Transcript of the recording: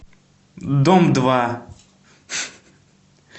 дом два